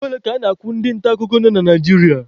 Ego ole ka a na-akwụ ndị nta akụkọ nọ na Naijiria?